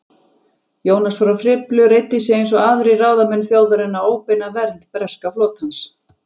Jónas frá Hriflu reiddi sig eins og aðrir ráðamenn þjóðarinnar á óbeina vernd breska flotans.